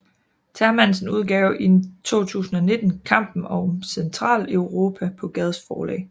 Termansen udgav i 2019 Kampen om Centraleuropa på Gads Forlag